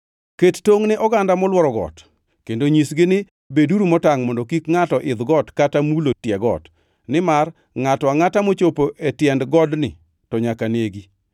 Ket tongʼ ne oganda molworo got kendo nyisgi ni, ‘Beduru motangʼ mondo kik ngʼato idh got kata mulo tie got, nimar ngʼato angʼata mochopo e tiend godni to nyaka negi.